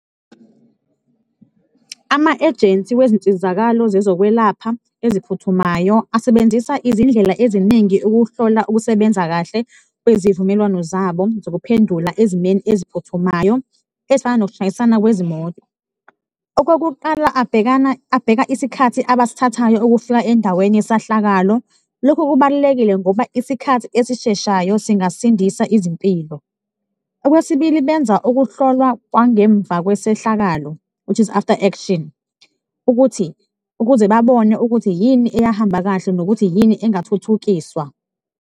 Ama-ejensi wezinsizakalo zezokwelapha eziphuthumayo asebenzisa izindlela eziningi ukuhlola ukusebenza kahle kwezivumelwano zabo zokuphendula ezimeni eziphuthumayo, ezifana nokushayisana kwezimoto. Okokuqala, abhekana abheka isikhathi abasithathayo ukufika endaweni yesahlakalo, lokhu kubalulekile ngoba isikhathi esisheshayo singasindisa izimpilo. Okwesibili, benza ukuhlolwa kwangemva kwesehlakalo, which is after action, ukuthi ukuze babone ukuthi yini eyahamba kahle nokuthi yini engathuthukiswa.